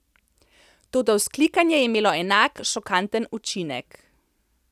Toda vzklikanje je imelo enak, šokanten učinek.